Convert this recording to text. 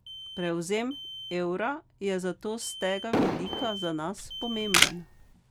Prevzem evra je zato s tega vidika za nas pomemben.